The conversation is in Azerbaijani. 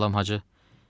Əleykəssalam, Hacı.